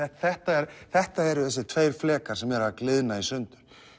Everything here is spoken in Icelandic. þetta þetta eru þessir tveir flekar sem eru að gliðna í sundur